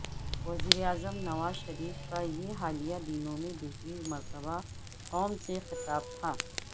وزیر اعظم نواز شریف کا یہ حالیہ دنوں میں دوسری مرتبہ قوم سے خطاب تھا